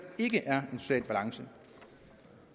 ikke er en social balance